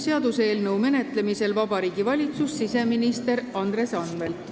Seaduseelnõu menetlemisel Riigikogus esindab Vabariigi Valitsust siseminister Andres Anvelt.